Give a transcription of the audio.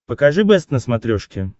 покажи бэст на смотрешке